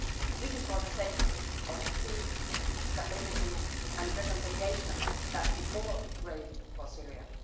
This is for the sake of the peace, stability and reconciliation that we all crave for Syria.